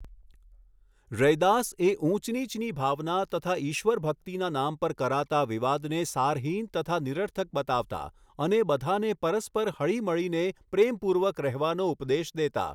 રૈદાસ એ ઊંચ નીચની ભાવના તથા ઈશ્વર ભક્તિના નામ પર કરાતા વિવાદને સારહીન તથા નિરર્થક બતાવતા અને બધાને પરસ્પર હળીમળીને પ્રેમપૂર્વક રહેવાનો ઉપદેશ દેતા.